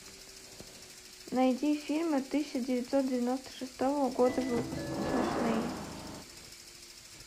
найди фильмы тысяча девятьсот девяносто шестого года выпуска смешные